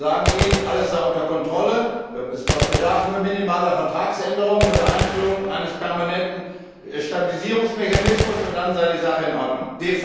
Sie sagen ihnen, alles sei unter Kontrolle, es bedürfe nur minimaler Vertragsänderungen unter Einführung eines permanenten Stabilisierungsmechanismus und dann sei die Sache in Ordnung.